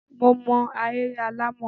Mo ma ahéré alàmọ̀.